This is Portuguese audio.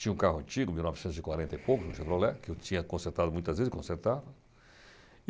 Tinha um carro antigo, de mil novecentos e quarenta e poucos, um Chevrolet, que eu tinha consertado muitas vezes e consertava.